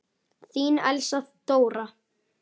Þín Elsa Dóra.